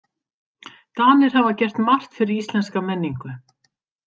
Danir hafa gert margt fyrir íslenska menningu.